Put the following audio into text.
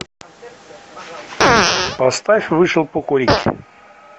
поставь вышел покурить